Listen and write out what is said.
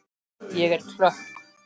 Ég er klökk.